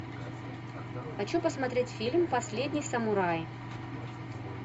хочу посмотреть фильм последний самурай